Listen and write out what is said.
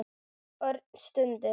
Örn stundi.